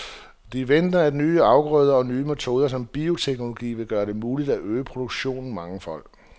De venter, at nye afgrøder og nye metoder som bioteknologi vil gøre det muligt at øge produktionen mangefold.